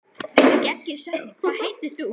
Hvað heitir hún?